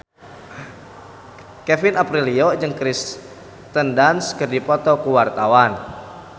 Kevin Aprilio jeung Kirsten Dunst keur dipoto ku wartawan